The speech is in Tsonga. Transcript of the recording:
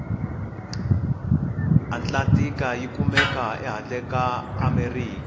atlantika yikumeka hhandle kaamerika